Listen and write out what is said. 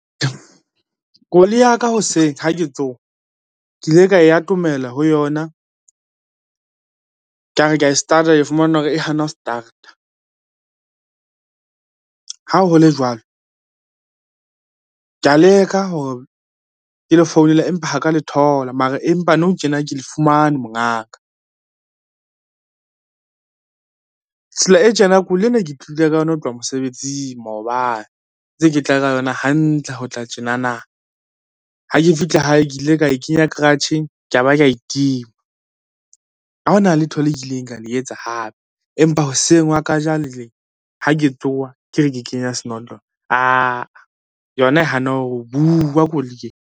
Koloi ya ka hoseng ha ke tsoha, ke ile ka e atomela ho yona kare ke a start-a ke fumana hore e hana ho start-a, ha ho le jwalo ka leka hore ke le founela, empa ha ka le thola mara empa nou tjena ke le fumane mongaka. Tsela e tjena koloi ena ke tlile ka yona ho tloha mosebetsing maobane, ntse ke tla ka yona hantle ho tla tjenana ha ke fihla hae ke ile ka e kenya garage-eng ke ya ba kae e tima, ha ona letho le kileng ka le etsa hape, empa hoseng ha ka jano le ha ke tsoha ke re ke kenya senotlolo, aa yona e hana ho bua koloi e.